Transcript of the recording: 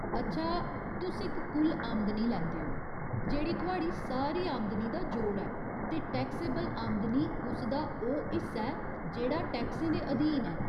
अच्छा, तुस इक कुल आमदनी लैंदे ओ, जेह्ड़ी थुआढ़ी सारी आमदनी दा जोड़ ऐ, ते टैक्सेबल आमदनी उस दा ओह् हिस्सा ऐ जेह्ड़ा टैक्सें दे अधीन ऐ।